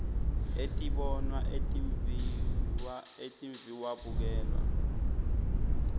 etibonwa etimviwa etimviwabukelwa